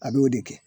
A b'o de kɛ